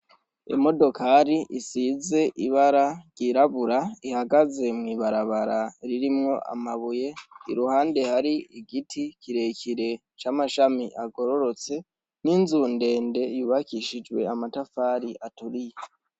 Imodokari isize ibara ryirabura ,ihagaze mw’ibarabara ririmwo amabuye, iruhande hari igiti kirekire c’amashami agororotse, n’inzu ndende yubakishijwe amatafari aturiye.